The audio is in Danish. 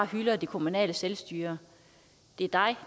hylder det kommunale selvstyre